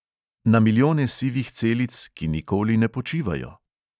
Na milijone sivih celic, ki nikoli ne počivajo?